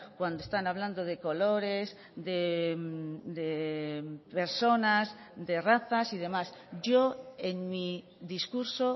cuando están hablando de colores de personas de razas y demás yo en mi discurso